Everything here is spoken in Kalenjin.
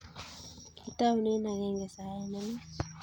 Kitoune agenge saet ne nwach.